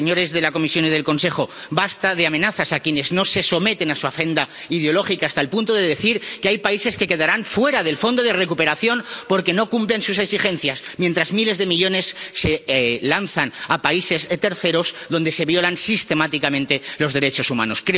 Señores de la Comisión y del Consejo, basta de amenazas a quienes no se someten a su agenda ideológica, hasta el punto de decir que hay países que quedarán fuera del fondo de recuperación porque no cumplen sus exigencias, mientras miles de millones se lanzan a países terceros donde se violan sistemáticamente los derechos humanos.